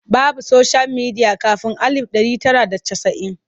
Babu soshiyal midiya kafin alif ɗari tara da casa'in.